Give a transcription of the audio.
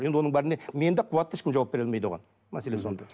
енді оның бәріне мен де қуат та ешкім жауап бере алмайды оған мәселе сонда